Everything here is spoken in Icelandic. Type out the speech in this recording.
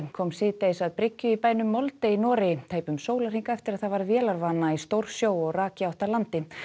kom síðdegis að bryggju í bænum Molde í Noregi tæpum sólarhring eftir að það varð vélarvana í stórsjó og rak í átt að landi